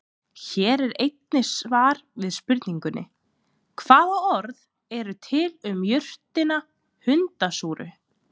Hér er einnig svar við spurningunni: Hvaða orð eru til um jurtina hundasúru?